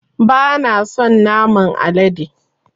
Bana son naman alade